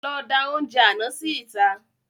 Lọ da oúnjẹ àná sí ìta